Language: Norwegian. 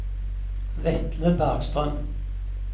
Vetle Bergstrøm